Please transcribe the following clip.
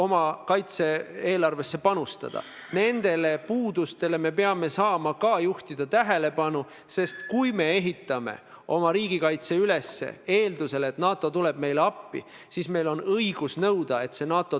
Mul on detsembris ees NATO tippkohtumine, mul on detsembris ees Euroopa Ülemkogu kohtumine ja sellele küsimusele – opositsiooni liider ütleb, et ma olen nõus riiki reetma –, kui seda minu käest küsitakse, pean ma kindlasti andma vastuse.